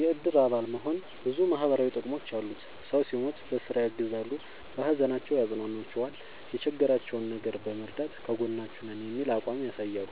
የእድር አባል መሆን ብዙ ማህበራዊ ጥቅሞች አሉት ሰው ሲሞት በስራ ያግዛሉ። በሀዘናቸው ያፅኗኗቸዋል የቸገራቸውን ነገር በመርዳት ከጎናችሁ ነን የሚል አቋም ያሳያሉ።